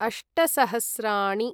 अष्ट सहस्राणि